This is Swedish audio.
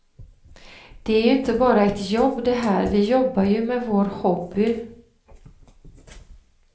Det är ju inte bara ett jobb det här, vi jobbar ju med vår hobby.